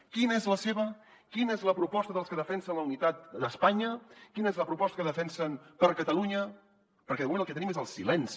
quina és la seva quina és la proposta dels que defensen la unitat d’espanya quina és la proposta que defensen per catalunya perquè de moment el que tenim és el silenci